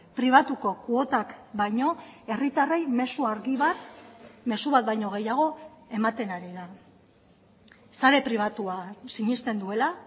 pribatuko kuotak baino herritarrei mezu argi bat mezu bat baino gehiago ematen ari da sare pribatuan sinesten duela